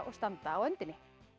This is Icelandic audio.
standa á öndinni